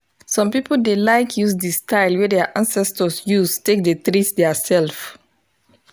some people dey like use the style wey their ancestors use take dey treat their self.